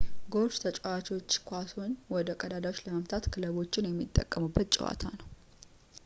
ጎልፍ ተጫዋቾችን ኳሶችን ወደ ቀዳዳዎች ለመምታት ክለቦችን የሚጠቀሙበት ጨዋታ ነው